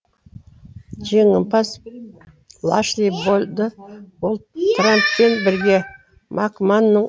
жеңімпаз лашли болды ол трамппен бірге макманның